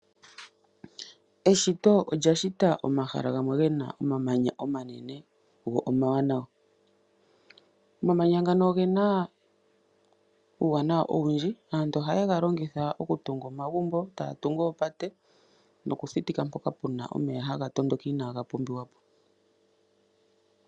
Eshito olya shita omahala gamwe gena omamanya omanene go omawanawa. Omamanya ngano ogena uuwanawa owundji. Aantu ohaye galongitha okutunga omagumbo, taya tungu oopate nokuthitika mpoka puna omeya haga tondoka inaaga pumbiwa po.